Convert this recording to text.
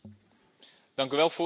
Dank u wel, Voorzitter.